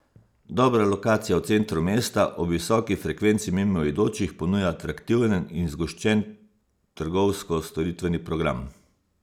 Dobra lokacija v centru mesta, ob visoki frekvenci mimoidočih ponuja atraktiven in zgoščen trgovsko storitveni program.